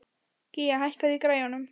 Gía, hækkaðu í græjunum.